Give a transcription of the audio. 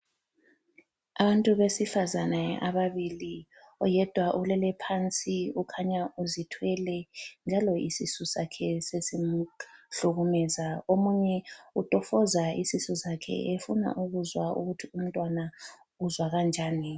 Abantu besefazana ababili, oyedwa ulele phansi ukhanya uzithwele, njalo isisu sakhe sesimhlukumeza. Omunye utofoza isisu sakhe efuna ukuzwa ukuthi umntwana uzwa kanjani.